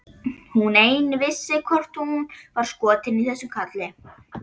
Hún ein vissi hvort hún var skotin í þessum kalli.